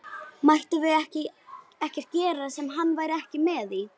Mættum við ekkert gera sem hann væri ekki með í?